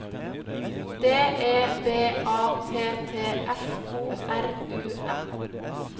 D E B A T T F O R U M